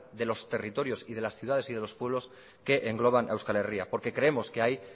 de los territorios y de las ciudades y de los pueblos que engloban a euskal herria porque creemos que ahí